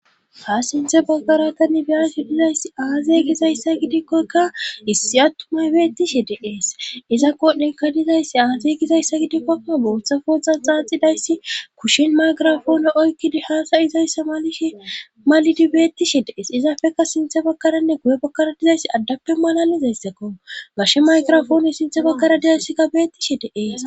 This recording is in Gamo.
Ha sinthe bagkaratanibiasi dizayssi aaze gizayssa gidikkoykka issi attumay beettishi deees iza kodhdhenka dizayssi aazey gizayssa gidikkokka bootha foxa xaaxidayssi kushin maygirafoone oykkidi haasayi zayssa ma malidi beettishi dees izaafeka sinthe bakkaranne guye bakkara dizayssi addappe malalizayssakko gashe maygirafoone sinthe bakkara dizayssikka beettishi deees.